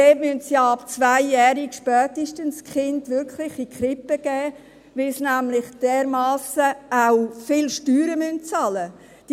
Dort müssen sie die Kinder ja spätestens ab 2-jährig wirklich in die Krippe geben, weil sie nämlich auch dermassen viel Steuern bezahlen müssen.